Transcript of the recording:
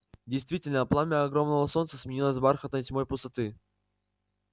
действительно пламя огромного солнца сменилось бархатной тьмой пустоты